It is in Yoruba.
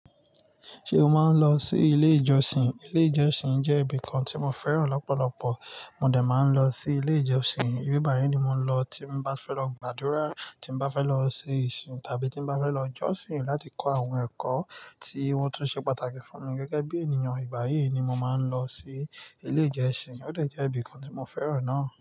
Ṣé o máa ń lọ sí ilé ìjọsìn? Ilé ìjọsìn jẹ́ ibìkan tí mo fẹ́ràn lọ́pọ̀lọpọ̀. Mo dè máa ń lọ sí ilé ìjọsìn. Ibi báyìí ni mo ń lọ tí bá fẹ́ lọ gbàdúrà, tí bá fẹ́ lọ ṣe ìsìn tàbí tí bá fẹ́ lọ jọ́sìn láti kọ àwọn ẹ̀kọ́ tí wọ́n tó ṣe pàtàkì fún mi gẹ́gẹ́ bí ènìyàn. Ìbáyìí ni mo máa ń lọ sí ilé ìjọsìn. Ó dẹ̀ jẹ́ ibìkan tí mo fẹ́ràn náà.